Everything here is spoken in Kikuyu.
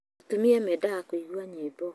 Atumia mendaga kũigua nyĩmbo